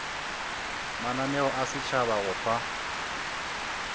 mananeo a setšhaba go fa